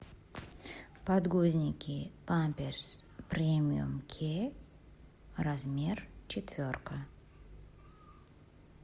подгузники памперс премиум кеа размер четверка